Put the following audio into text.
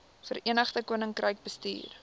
verenigde koninkryk bestuur